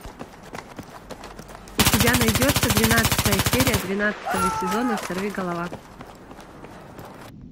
у тебя найдется двенадцатая серия двенадцатого сезона сорвиголова